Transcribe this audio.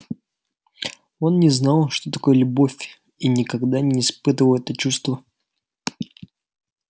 он не знал что такое любовь и никогда не испытывал это чувства